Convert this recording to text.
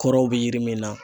Kɔrɔw be yiri min na